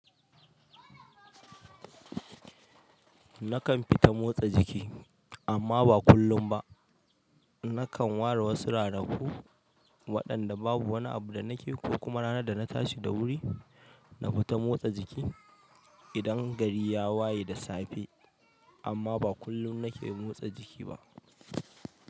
Nakan fita motsa jiki amma ba kullum ba. Nakan ware wasu ranaku waɗanda babu wani abu da nake ko kuma ranar da na tashi da wuri nafita motsa jiki idan gari ya waye da safe, amma ba kullum nake motsa jiki ba.